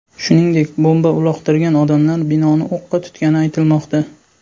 Shuningdek, bomba uloqtirgan odamlar binoni o‘qqa tutgani aytilmoqda.